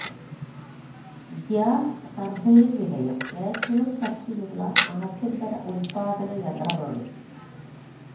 gas turbine നിലയം ഏറ്റവും ശക്തിയുള്ള ആഭ്യന്തര ഉൽപാദന യന്ത്രമാണ്